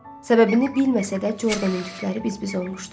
Səbəbini bilməsə də, Jordanın tükləri biz-biz olmuşdu.